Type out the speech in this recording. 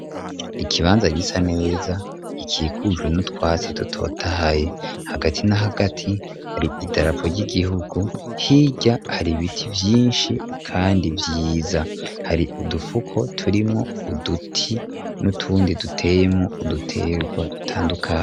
Ikibanza gisa neza kikikujwe n'utwasi dutotahaye. Hagati n'ahagati hari idarapo ry'igihugu hijya hari biti vyinshi kandi vyiza hari udufuko turimo uduti n'utundi duteyemo uduterwa dutandukanye.